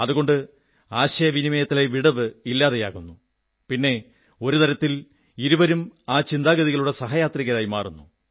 അതുകൊണ്ട് ആശയവിനിമയത്തിലെ വിടവ് ഇല്ലാതാകുന്നു പിന്നെ ഒരു തരത്തിൽ ഇരുവരും ആ ചിന്താഗതികളുടെ സഹയാത്രികരായി മാറുന്നു